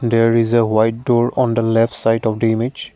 there is a white door on the left side of the image.